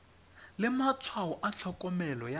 le matshwao a tlhokomelo ya